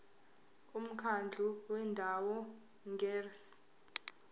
umkhandlu wendawo ngerss